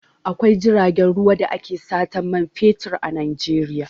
Akwai jiragen ruwa da ake satan man fetur a Najeiya.